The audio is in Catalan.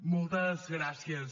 moltes gràcies